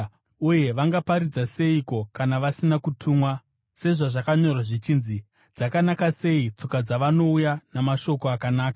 Uye vangaparidza seiko kana vasina kutumwa? Sezvazvakanyorwa zvichinzi: “Dzakanaka sei tsoka dzavanouya namashoko akanaka!”